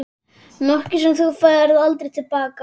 Nokkuð sem þú færð aldrei til baka.